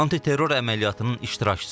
Antiterror əməliyyatının iştirakçısıdır.